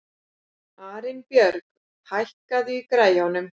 Arinbjörg, hækkaðu í græjunum.